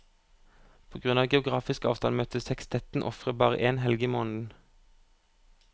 På grunn av geografisk avstand møtes sekstetten ofte bare én helg i måneden.